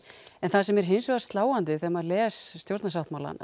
en það sem er hins vegar sláandi þegar maður les stjórnarsáttmálann